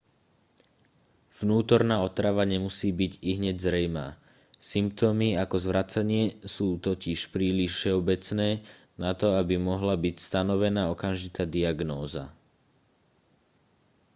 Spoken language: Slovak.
vnútorná otrava nemusí byť ihneď zrejmá symptómy ako zvracanie sú totiž príliš všeobecné na to aby mohla byť stanovená okamžitá diagnóza